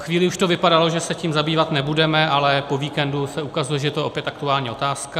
Chvíli už to vypadalo, že se tím zabývat nebudeme, ale po víkendu se ukazuje, že je to opět aktuální otázka.